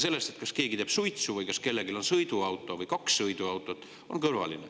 See, kas keegi teeb suitsu või kas kellelgi on sõiduauto või kaks sõiduautot, on kõrvaline.